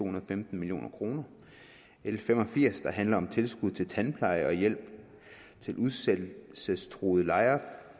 og femten million kroner l fem og firs der handler om tilskud til tandpleje og hjælp til udsættelsestruede lejere